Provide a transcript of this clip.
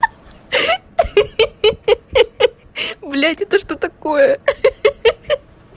ха-ха блять это что такое хи-хи